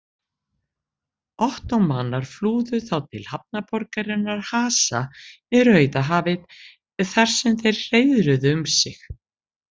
Ottómanar flúðu þá til hafnarborgarinnar Hasa við Rauðahafið þar sem þeir hreiðruðu um sig.